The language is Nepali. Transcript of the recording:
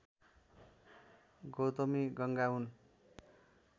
गौतमी गङ्गा हुन्